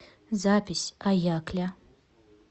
запись аякля